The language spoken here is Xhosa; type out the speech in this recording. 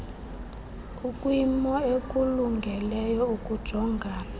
ukwimo ekulungeleyo ukujongana